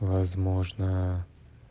возможно